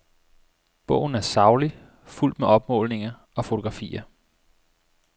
Bogen er saglig, fuldt med opmålinger og fotografier.